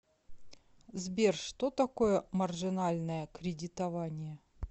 сбер что такое маржинальное кредитование